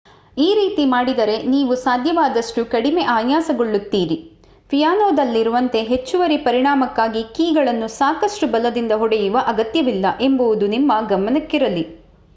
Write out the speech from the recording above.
ಈ ರೀತಿ ಮಾಡಿದರೆ ನೀವು ಸಾಧ್ಯವಾದಷ್ಟು ಕಡಿಮೆ ಆಯಾಸಗೊಳಿಸುತ್ತೀರಿ ಪಿಯಾನೋದಲ್ಲಿರುವಂತೆ ಹೆಚ್ಚುವರಿ ಪರಿಮಾಣಕ್ಕಾಗಿ ಕೀಗಳನ್ನು ಸಾಕಷ್ಟು ಬಲದಿಂದ ಹೊಡೆಯುವ ಅಗತ್ಯವಿಲ್ಲ ಎಂಬುದು ನಿಮ್ಮ ಗಮನಕ್ಕಿರಲಿ